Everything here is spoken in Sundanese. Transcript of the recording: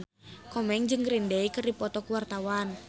Komeng jeung Green Day keur dipoto ku wartawan